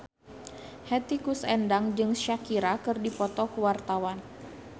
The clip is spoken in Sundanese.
Hetty Koes Endang jeung Shakira keur dipoto ku wartawan